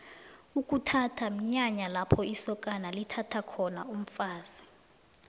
ukuthatha mnyanya lapho isokana lithatha khona umfazi